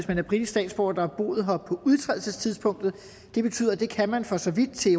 man er britisk statsborger der har boet her på udtrædelsestidspunktet det betyder at det kan man for så vidt til